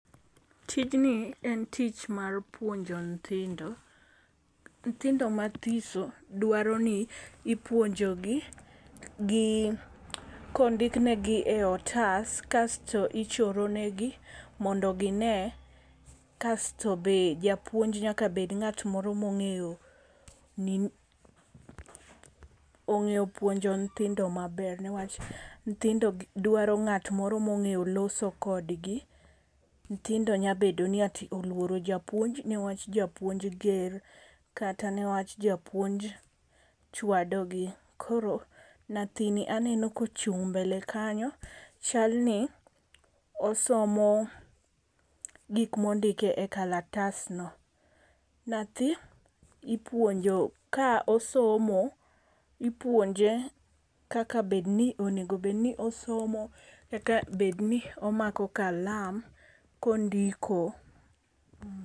Tijni en tich mar puonjo nthindo. Nthindo mathiso dwaro ni ipuonjo gi gi kondiknegi e otas kasto ichoro ne gi mondo gi ne kasto be japuonj nyaka bed ng'at moro mong'eyoong'eyo puonjo nyithindo maber niwach, nthindo dwaro ng'at moro mong'eyo loso kodgi . Nthindo nyalo bedo ni oluoro japuonj niwach japuonj ger kata niwach japuonj chwado gi. Koro nyathini aneno kochung' mbele kanyo chalni osomo gik mondik e kalatas no. Nyathi ipuonjo ka osomo ipuonje kaka bed ni onego bed ni osomo eka bed ni omako kalam kondiko.